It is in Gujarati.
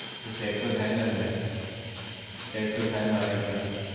એ તો check ને અલ્યા check તો થાય મારા હિસાબ થી